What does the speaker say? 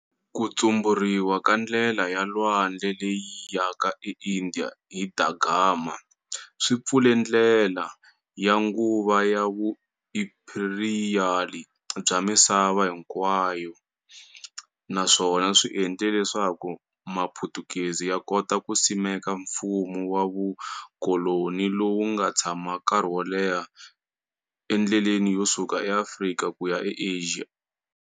Ku tshuburiwa ka ndlela ya lwandle leyi yaka e India hi Da Gama swi pfule ndlela ya nguva ya vuimperiyali bya misava hinkwayo naswona swi endle leswaku Maputukezi ya kota ku simeka mfumo wa vukoloni lowu nga tshama nkarhi wo leha endleleni yo suka eAfrika ku ya eAsia.